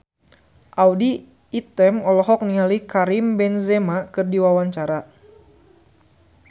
Audy Item olohok ningali Karim Benzema keur diwawancara